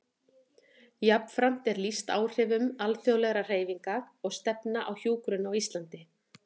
Jafnframt er lýst áhrifum alþjóðlegra hreyfinga og stefna á hjúkrun á Íslandi.